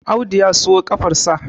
Audu ya siyo kafar sa